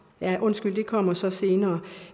ja undskyld det kommer så senere